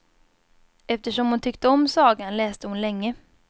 Eftersom hon tyckte om sagan läste hon länge.